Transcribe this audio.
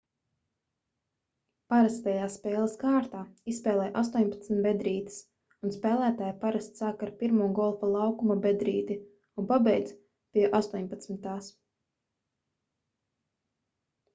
parastajā spēles kārtā izspēlē 18 bedrītes un spēlētāji parasti sāk ar pirmo golfa laukuma bedrīti un pabeidz pie astoņpadsmitās